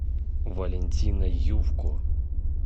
валентина ювко